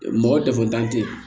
Mɔgɔ dɛfan te yen